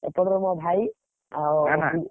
ଏପଟରେ ମୋ ଭାଇ,